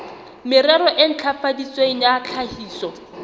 merero e ntlafaditsweng ya tlhahiso